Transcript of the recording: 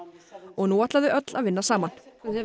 og nú ætla þau öll að vinna saman